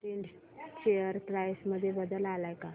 सॅट Ind share price मध्ये बदल आलाय का